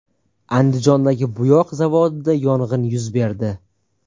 Andijondagi bo‘yoq zavodida yong‘in yuz berdi.